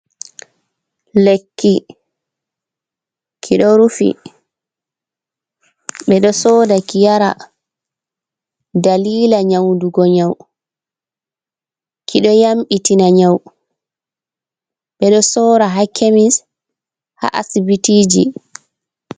Lekki, kiɗo rufi, ɓe ɗo soda ki yara dalila nyaudugo nyau, kiɗo yambitina nyau, ɓe ɗo soora ha kemis ha asibitiji.